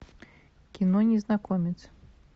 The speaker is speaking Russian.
кино незнакомец